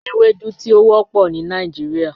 Ewedu ti o wọpọ ni Nigeria.